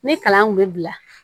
Ne kalan kun bɛ bila